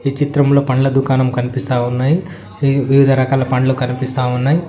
ఈ చిత్రంలో పండ్ల దుకాణం కనిపిస్తా ఉన్నాయి వివిధ రకాల పండ్లు కనిపిస్తా ఉన్నాయి.